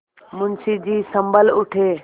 मुंशी जी सँभल उठे